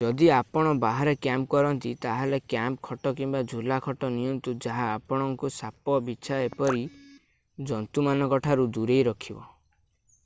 ଯଦି ଆପଣ ବାହାରେ କ୍ୟାମ୍ପ କରନ୍ତି ତାହେଲେ କ୍ୟାମ୍ପ ଖଟ କିମ୍ବା ଝୁଲା ଖଟ ନିଅନ୍ତୁ ଯାହା ଆପଣଙ୍କୁ ସାପ ବିଚ୍ଛା ଓ ଏପରି ଜନ୍ତୁ ମାନଙ୍କ ଠାରୁ ଦୂରେଇ ରଖିବ